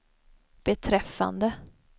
beträffande